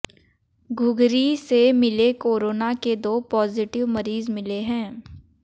घुघरी से मिले कोरोना के दो पॉजिटिव मरीज मिले हैं